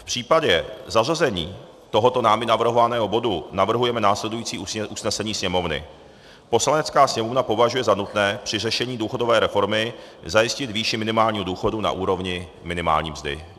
V případě zařazení tohoto námi navrhovaného bodu navrhujeme následující usnesení Sněmovny: "Poslanecká sněmovna považuje za nutné při řešení důchodové reformy zajistit výši minimálního důchodu na úrovni minimální mzdy."